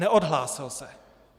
Neodhlásil se.